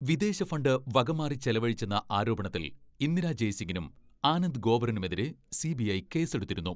വിദേശ ഫണ്ട് വകമാറി ചെലവഴിച്ചെന്ന ആരോപണത്തിൽ ഇന്ദിരാ ജയ്സിങ്ങിനും, ആനന്ദ് ഗോവറിനുമെതിരെ സി.ബി.ഐ കേസെടുത്തിരുന്നു.